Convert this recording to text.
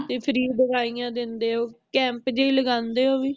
ਤੇ free ਦਵਾਈਆਂ ਦਿੰਦੇ ਆ ਓ camp ਜਿਹੀ ਲਗਾਂਦੇ ਆ ਓ ਵੀ